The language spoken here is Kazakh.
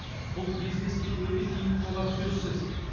бұл бизнеске өте тиімді болары сөзсіз